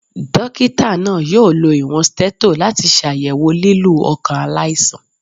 Dọkita naa yoo lo iwọn stetho lati ṣayẹwo lilu ọkan alaisan.